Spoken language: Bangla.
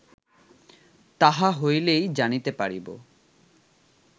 তাহা হইলেই জানিতে পারিব